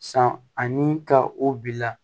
San ani ka o bila